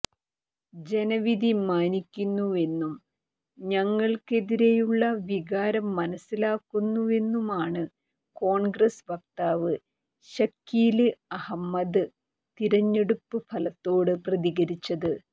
ജനവിധി മാനിക്കുന്നുവെന്നും തങ്ങള്ക്കെതിരെയുള്ള വികാരം മനസ്സിലാക്കുന്നുവെന്നുമാണ് കോണ്ഗ്രസ് വക്താവ് ശക്കീല് അഹ്മദ് തിരഞ്ഞെടുപ്പ് ഫലത്തോട് പ്രതികരിച്ചത്